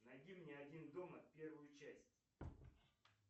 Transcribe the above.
найди мне один дома первую часть